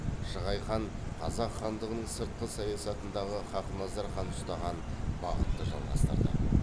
шығай хан қазақ хандығының сыртқы саясатындағы хақназар хан ұстаған бағытты жалғастырды